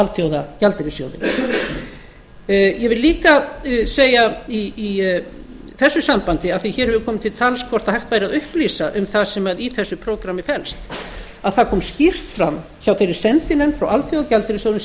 alþjóðagjaldeyrissjóðinn ég vil líka segja í þessu sambandi af því að hér hefur komið til tals hvort hægt væri að upplýsa um það sem í þessu prógrammi felst að það kom skýrt fram hjá þeirri sendinefnd frá alþjóðagjaldeyrissjóðnum sem